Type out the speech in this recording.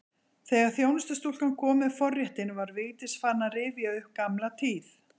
Þegar þjónustustúlkan kom með forréttinn var Vigdís farin að rifja upp gamla tíð.